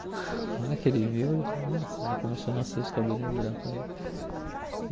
Na hora que ele viu, ele falou, nossa, já começou a nascer os cabelinhos brancos nele.